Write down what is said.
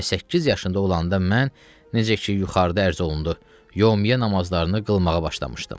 Və səkkiz yaşında olanda mən, necə ki, yuxarıda ərz olundu, yomiyyə namazlarını qılmağa başlamışdım.